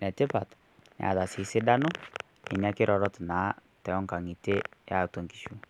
enetipat neeta sii sidano nena kirorot eatua inkishu.